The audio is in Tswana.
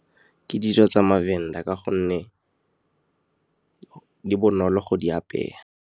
Ke dijo tsa maVenda ka gonne di bonolo go di apeya.